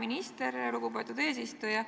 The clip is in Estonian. Aitäh, lugupeetud eesistuja!